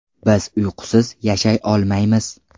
Biz uyqusiz yashay olmaymiz.